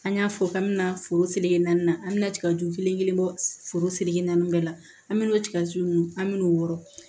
An y'a fɔ k'an bɛna foro seleke naani na an be na tigaju kelen kelen bɔ foro seleke naani bɛɛ la an mi n'o tigaju nunnu an mi n'o wɔrɔn